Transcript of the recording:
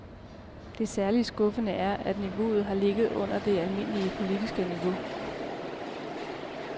Det særligt skuffende er, at niveauet her ligger under det almindelige politiske niveau.